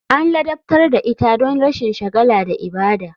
An ladabtar da ita don rashin shagala da ibada.